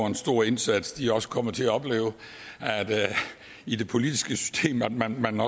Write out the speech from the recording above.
en stor indsats også kommer til at opleve i det politiske system at man